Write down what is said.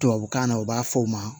Tubabukan na u b'a fɔ o ma